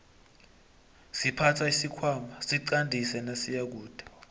siphatha isikhwana siqandisi nasiyakude